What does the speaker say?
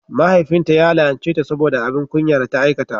Mahaifinta ya la'anceta saboda abin kunya da ta aikata.